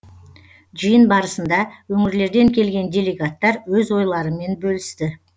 жиын барысында өңірлерден келген делегаттар өз ойларымен бөлісті